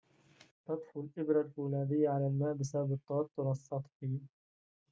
تطفو الإبرة الفولاذيّة على الماء بسبب التوتّر السطحي